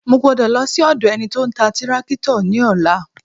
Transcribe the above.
Mo gbọ́dọ̀ lọ sí ọ̀dọ̀ ẹni tí ó ń ta tírákítọ̀ ní ọ̀la